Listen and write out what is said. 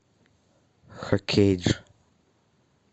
хокейдж